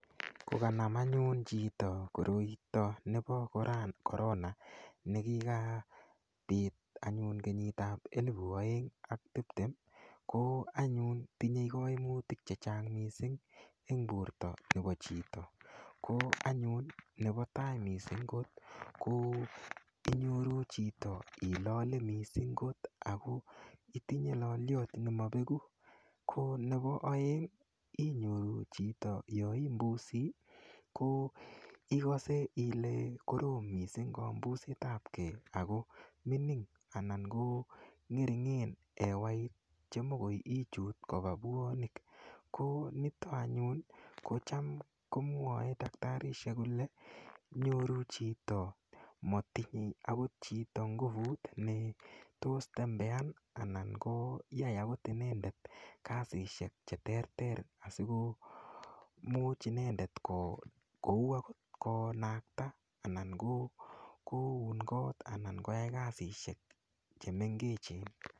Kokanam anyun chito koroito nepo korona nekikapit anyun kenyit ap elipu oeng ak tiptem ko anyun tinyei kaimutik che chang mising eng borto nepo chito ko anyun nepo tai mising kot ko inyoru chito ilole mising kot ako itinye loliot nimapeku ko nepo oeng inyoru chito yoimbusi ko ikose ile korom mising kombuset ap kee ako mining ana ko ngeringen hewait chemokoi ichut kopa puonik ko nitok anyun kocham komwoe daktarisiek kole inyoru chito matinyei akot chito nguvut ne tos tembean anan ko yai akot inendet kasishek che terter asiko much inendet kou akot konakta anan komakat koun kot anan koyai kasishek chemengechen